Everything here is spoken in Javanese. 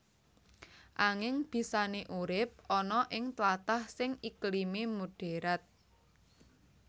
Anging bisané urip ana ing tlatah sing iklimé moderat